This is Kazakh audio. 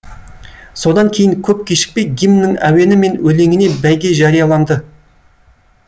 содан кейін көп кешікпей гимннің әуені мен өлеңіне бәйге жарияланды